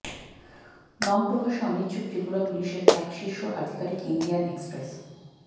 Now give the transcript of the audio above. নাম প্রকাশে অনিচ্ছুক ত্রিপুরা পুলিশের এক শীর্ষ আধিকারিক ইন্ডিয়ান এক্সপ্রেস